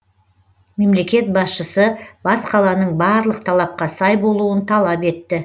мемлекет басшысы бас қаланың барлық талапқа сай болуын талап етті